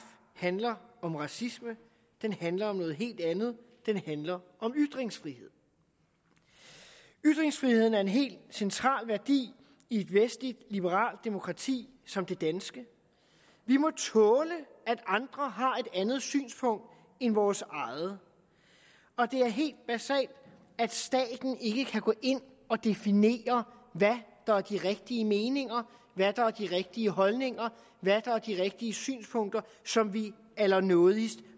handler om racisme den handler om noget helt andet den handler om ytringsfrihed ytringsfriheden er en helt central værdi i et vestligt liberalt demokrati som det danske vi må tåle at andre har et andet synspunkt end vores eget og det er helt basalt at staten ikke kan gå ind og definere hvad der er de rigtige meninger hvad der er de rigtige holdninger og de rigtige synspunkter som vi allernådigst